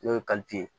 N'o ye ye